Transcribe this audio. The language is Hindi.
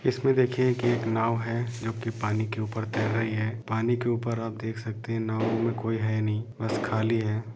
इसमे देखिए की एक नाव है जोकि पानी के ऊपर तेर रही है पानी के ऊपर आप देख सकते है नाव में कोई है नही बस खाली है।